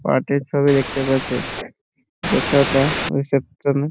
মাঠের ছবি দেখতে পাচ্ছি | যেখানে বসার জন্য --